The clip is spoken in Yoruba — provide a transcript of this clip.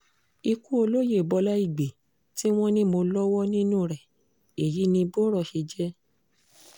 ikú olóye bọlá ìgbẹ́ tí wọ́n ní mọ́ lọ́wọ́ nínú rẹ̀ èyí ni bọ́rọ̀ ṣe jẹ́